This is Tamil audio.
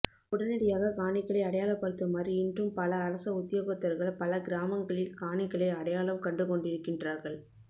உடனடியாக காணிகளை அடையாளப்படுத்துமாறு இன்றும் பல அரச உத்தியோகத்தர்கள் பல கிரமாங்களில் காணிகளை அடையாளம் கண்டுகொண்டிருக்கின்றார்கள்